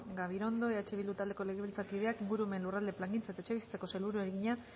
gabirondo eh bildu taldeko legebiltzarkideak ingurumen lurralde plangintza eta etxebizitzako sailburuari egina